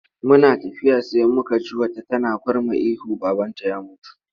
Muna tafiya sai muka ji wata tana kurma ihu babanta ya mutu.